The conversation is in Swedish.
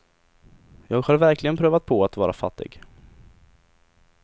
Jag har verkligen prövat på att vara fattig.